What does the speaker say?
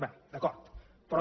bé d’acord però